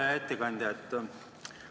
Hea ettekandja!